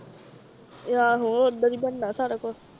ਆਹੋ ਓਧਰ ਈ ਬਣਨਾ ਸਾਰਾ ਕੁਛ।